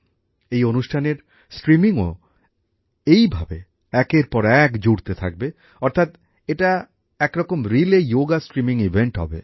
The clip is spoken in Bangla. এই অনুষ্ঠানের স্ট্রিমিংও এইভাবে একের পর এক জুড়তে থাকবে অর্থাৎ এটা একরকম রিলে যোগ স্ট্রিমিং অনুষ্ঠান হবে